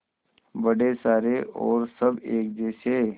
बड़े सारे और सब एक जैसे